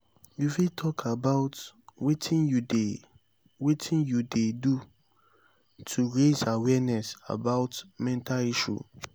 you fit talk about wetin you dey wetin you dey do to raise awareness about mental health?